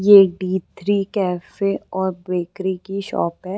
ये एक D three cafe और बेकरी की शोप है।